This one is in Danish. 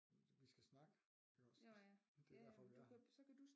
Vi skal snakke iggås det er derfor vi er her